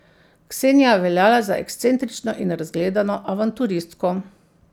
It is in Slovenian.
Ksenija je veljala za ekscentrično in razgledano avanturistko.